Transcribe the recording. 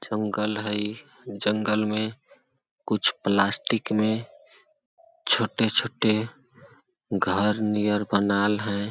जंगल हे जंगल में कुछ प्लास्टिक में छोटे-छोटे घर नियर बनाल हे।